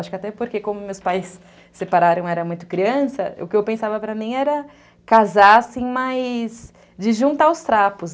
Acho que até porque, como meus pais separaram, era muito criança, o que eu pensava para mim era casar, mas de juntar os trapos.